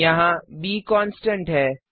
यहाँ ब constant constant है